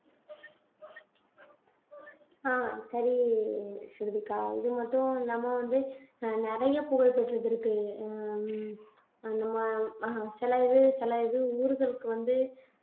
ஆஹ் சரி ஸ்ருதிகா இது மட்டும் இல்லாம வந்து அஹ் நிறைய புகழ்பெற்றது இருக்கு ஹம் அஹ் நம்ம ஆஹ் சில இது சில இது ஊர்களுக்கு வந்து